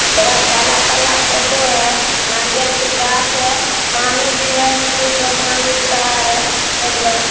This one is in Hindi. थोड़ा काला-काला फोटो है नारियल के गाछ है पानी भी है सूरज भगवान उग रहा है एकदम।